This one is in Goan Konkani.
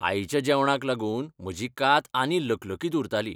आईच्या जेवणाक लागून म्हजी कात आनी लकलकीत उरताली.